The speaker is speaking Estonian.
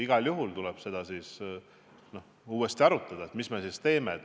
Sellises olukorras tuleb igal juhul uuesti arutada, mida me edasi teeme.